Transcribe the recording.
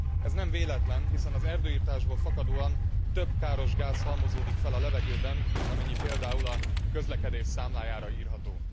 Ez nem véletlen, hiszen az erdőirtásból fakadóan több káros gáz halmozódik fel a levegőben, mint amennyi például a közlekedés számlájára írható.